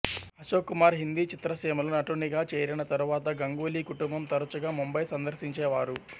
ఆశోక్ కుమార్ హిందీ చిత్రసీమలో నటునిగా చేరిన తరువాత గంగూలీ కుటుంబం తరచుగా ముంబై సందర్శించేవారు